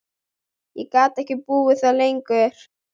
Ég gat ekki búið þar lengur.